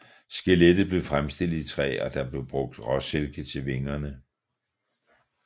Skelettet blev fremstillet i træ og der blev brugt råsilke til vingerne